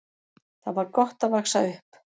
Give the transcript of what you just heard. Þar var gott að vaxa upp.